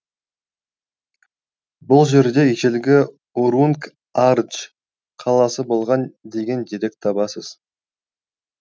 бұл жерде ежелгі урунг ардж қаласы болған деген деректі табасыз